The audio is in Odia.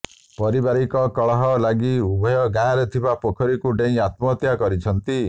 ପାରିବାରକ କଳହ ଲାଗି ଉଭୟ ଗାଁରେ ଥିବା ପୋଖରୀକୁ ଡେଇଁ ଆତ୍ମହତ୍ୟା କରିଛନ୍ତି